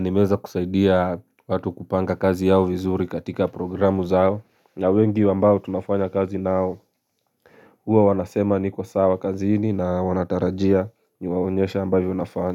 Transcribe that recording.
Nimeweza kusaidia watu kupanga kazi yao vizuri katika programu zao na wengi ambao tunafanya kazi nao huwa wanasema niko sawa kazini na wanatarajia niwaonyesha ambavyo nafanya.